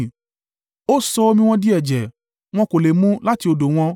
Ó sọ omi wọn di ẹ̀jẹ̀; wọn kò lè mu láti odò wọn.